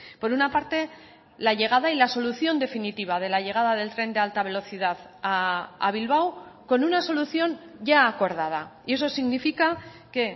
por una parte la llegada y la solución definitiva de la llegada del tren de alta velocidad a bilbao con una solución ya acordada y eso significa que